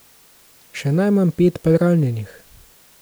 Še najmanj pet pa je ranjenih.